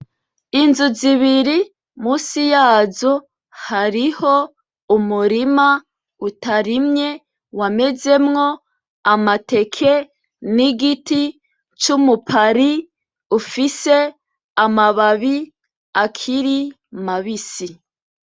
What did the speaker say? Inzu zibiri munsi yazo hariho umurima utarimye wa mezemwo amateke n'igiti c'umupari ufise amababi akiri mabisi.